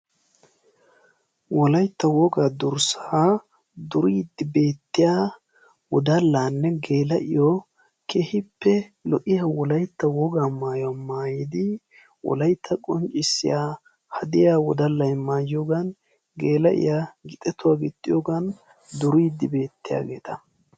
Wolaytta wogaa durssa duriddi beetiya wodallanne geela'iyo keehippe lo'iya wolaytta durssa duriddi beettosonna.